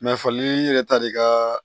Mɛ fali yɛrɛ ta de ka